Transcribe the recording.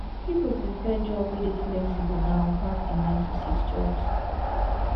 pipo prefer job wey de flexible now pass di nine to six jobs